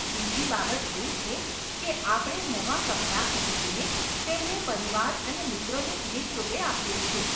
બીજી બાબત એ છે કે આપણે નવા કપડાં ખરીદીને તેમને પરિવાર અને મિત્રોને ભેટ રૂપે આપીએ છીએ.